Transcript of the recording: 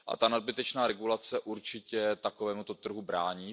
Nadbytečná regulace určitě takovému trhu brání.